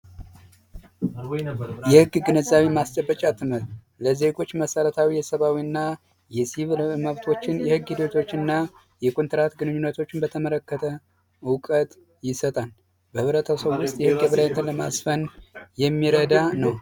የህግ ግንዛቤ ማስጨበጫ ትምህርት ለዜጎች መሰረታዊና የሲቪል መብቶችን የህግ ልጆችና የኮንትራት ግንኙነቶችን በተመለከተ ዕውቀት ይሰጣል የሚረዳ ነው